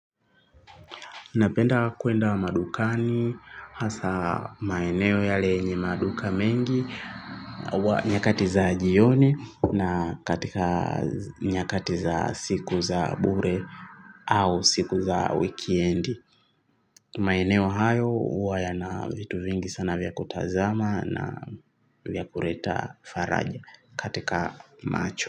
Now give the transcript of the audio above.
Napenda kwenda madukani hasa maeneo yale yenye maduka mengi wa nyakati za jioni na katika nyakati za siku za bure au siku za wikendi. Maeneo hayo huwa yana vitu vingi sana vya kutazama na vya kureta faraja katika macho.